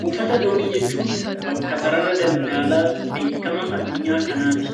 Buufata doonii jechuun bakka sarara daldalaa beekamaa addunyaa keenyaa kanatti.